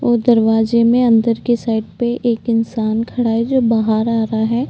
और दरवाजे में अंदर के साइड पे एक इंसान खड़ा है जो बाहर आ रहा है।